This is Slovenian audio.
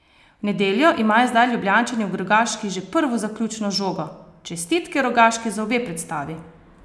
V nedeljo imajo zdaj Ljubljančani v Rogaški že prvo zaključno žogo: "Čestitke Rogaški za obe predstavi.